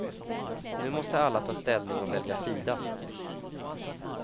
Nu måste alla ta ställning och välja sida.